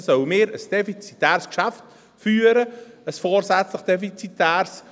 – Dann müssten wir ein defizitäres Geschäft führen, ein vorsätzlich defizitäres.